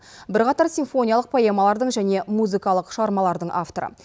бірқатар симфониялық поэмалардың және музыкалық шығармалардың авторы